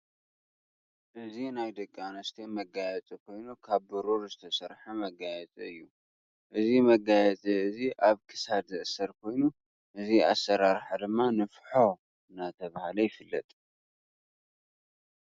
እዚ ናይ ደቂ ኣነስትዮ መጋየፂ ኮይኑ ካብ ብሩር ዝተሰርሐ መጋየፂ እዩ። እዚ መጋየፂ እዚ ኣብ ክሳድ ዝእሰር ኮይኑ እዚ ኣሰራረሓ ድማ ንፍሖ እንዳተባሃለ ይፍለጥ።